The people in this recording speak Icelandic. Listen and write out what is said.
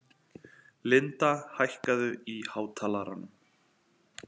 Linda, hækkaðu í hátalaranum.